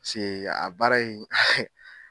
Piseke a baara in